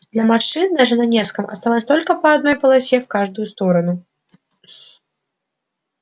для машин даже на невском осталось только по одной полосе в каждую сторону